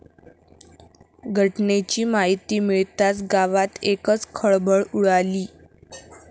घटनेची माहिती मिळताच गावात एकच खळबळ उडाली.